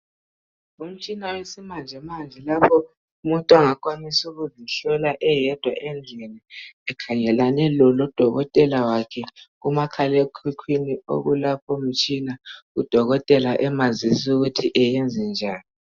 Ngumtshina owesimanje manje , lapho umuntu ongakwanisa ukuzihlola eyedwa endlini. Ekhangelane lodokotela wakhe kumakhalemkukwini ukulapho mtshina udokotela emazisi ukuthi eyenze njani.